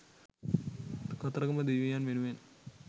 කතරගම දෙවියන් වෙනුවෙන්